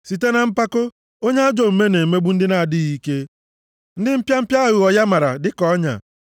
Site na mpako, onye ajọ omume na-emegbu ndị na-adịghị ike, ndị mpịa mpịa aghụghọ ya mara dịka ọnya.